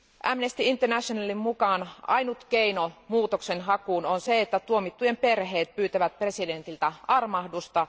Amnesty Internationalin mukaan ainut keino muutoksenhakuun on se, että tuomittujen perheet pyytävät presidentiltä armahdusta.